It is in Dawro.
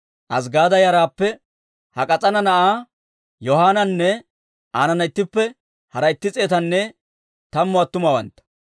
Azggaada yaraappe Hak'k'as'aana na'aa Yohanaananne aanana ittippe hara itti s'eetanne tammu attumawantta,